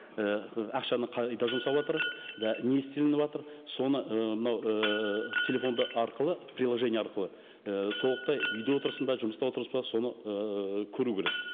і ақшаны қайда жұмсаватыр да не істелініватыр соны ы мынау ііі телефон арқылы приложение арқылы і толықтай үйде отырсың ба жұмыста отырсың ба соны ііі көру керек